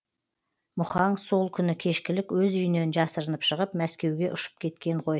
мұхаң сол күні кешкілік өз үйінен жасырынып шығып мәскеуге ұшып кеткен ғой